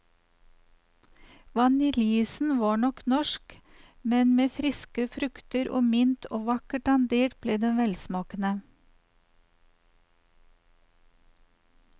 Vaniljeisen var nok norsk, men med friske frukter og mint og vakkert dandert ble det velsmakende.